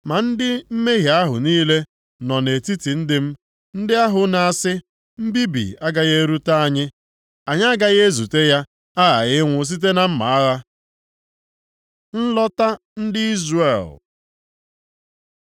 Ma ndị mmehie ahụ niile nọ nʼetiti ndị m, ndị ahụ na-asị, ‘Mbibi agaghị erute anyị, anyị agaghị ezute ya, aghaghị ịnwụ site na mma agha.’ Nlọta ndị Izrel